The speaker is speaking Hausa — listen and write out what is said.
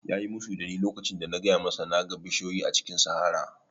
Ya yi musu da ni lokacin da na faɗa masa na ga bishiyu a cikin sahara